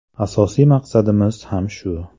Asosiy maqsadimiz ham shu.